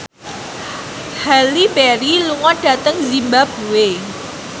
Halle Berry lunga dhateng zimbabwe